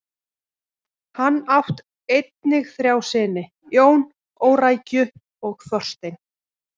Hann átt einnig þrjá syni: Jón, Órækju og Þorstein.